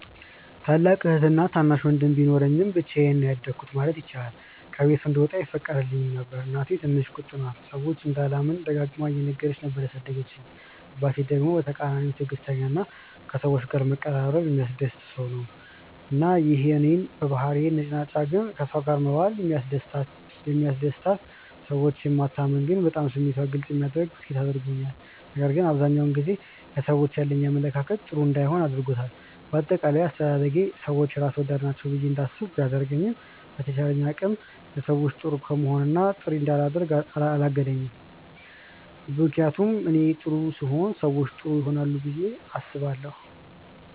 ታላቅ እህትና ታናሽ ወንድም ቢኖረኝም ብቻዬን ነው ያደኩት ማለት ይቻላል። ከቤት እንድወጣም አይፈቀድልኝም ነበር። እናቴ ትንሽ ቁጡ ናት፤ ሰዎችን እንዳላምን ደጋግማ እየነገረች ነበር ያሳደገችኝ። አባቴ ደግሞ በተቃራኒው ትዕግስተኛ እና ከሰዎች ጋር መቀራረብ የሚያስደስተው ሰው ነው። እና ይሄ እኔን በባህሪዬ ነጭናጫ ግን ከሰው ጋር መዋል የሚያስደስታት፣ ሰዎችን የማታምን ግን በጣም ስሜቷን ግልፅ የምታደርግ ሴት አድርጎኛል። ነገር ግን አብዛኛውን ጊዜ ለሰዎች ያለኝ አመለካከት ጥሩ እንዳይሆን አድርጎታል። በአጠቃላይ አስተዳደጌ ሰዎች ራስ ወዳድ ናቸው ብዬ እንዳስብ ቢያደርገኝም በተቻለኝ አቅም ለሰዎች ጥሩ ከመሆን እና ጥሩ እንዳላደርግ አላገደኝም። ምክንያቱም እኔ ጥሩ ስሆን ሰዎችም ጥሩ ይሆናሉ ብዬ አስባለሁ።